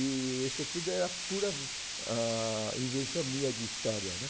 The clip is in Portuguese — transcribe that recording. E isso tudo era pura, ah, invenção minha de história, né?